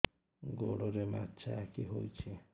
ଗୋଡ଼ରେ ମାଛଆଖି ହୋଇଛି